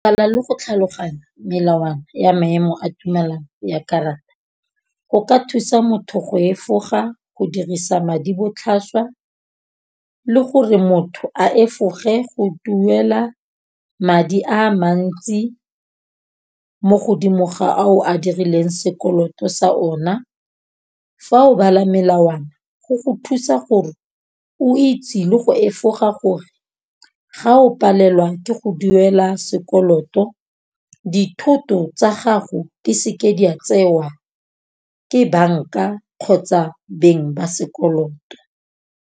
le go tlhaloganya melawana ya maemo a tumelano ya karata go ka thusa motho go efoga, go dirisa madi botlhaswa le gore motho a efoge go duela madi a mantsi mo godimo ga a o a dirileng sekoloto sa ona. Fa o bala melawana go go thusa gore o itse le go efoga gore ga o palelwa ke go duela sekoloto, dithoto tsa gago di seke di a tsewa ke banka kgotsa beng ba sekoloto.